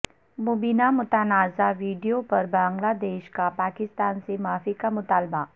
مبینہ متنازع ویڈیو پر بنگلہ دیش کا پاکستان سے معافی کا مطالبہ